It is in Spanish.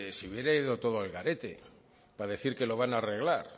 se hubiera ido todo al garete para decir que lo van a arreglar